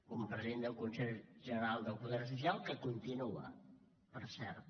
un president del consell general del poder judicial que continua per cert